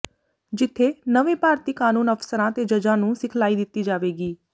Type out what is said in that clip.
ਜਿੱਥੇ ਨਵੇਂ ਭਰਤੀ ਕਾਨੂੰਨ ਅਫਸਰਾਂ ਤੇ ਜੱਜਾਂ ਨੂੰ ਸਿਖਲਾਈ ਦਿੱਤੀ ਜਾਵੇਗੀ